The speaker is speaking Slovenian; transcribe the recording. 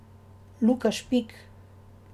Luka Špik.